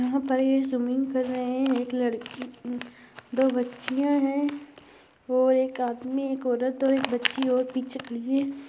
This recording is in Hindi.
यहा पर ये स्विमिंग कर रहे है एक लड़की दो बच्चियाँ है और एक आदमी एक औरत और एक बच्ची और पीछे